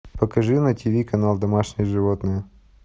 покажи на тиви канал домашние животные